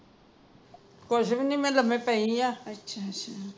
ਕੁੱਝ ਵੀ ਨਹੀ ਮੈ ਲੰਮੇ ਪਈ ਹਾਂ